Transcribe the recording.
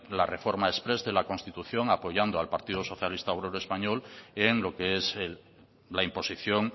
la reforma exprés de la constitución apoyando al partido socialista obrero español en lo que es la imposición